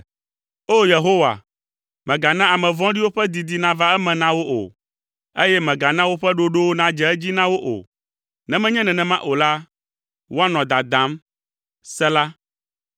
O! Yehowa, mègana ame vɔ̃ɖiwo ƒe didi nava eme na wo o, eye mègana woƒe ɖoɖowo nadze edzi na wo o, ne menye nenema o la, woanɔ dadam. Sela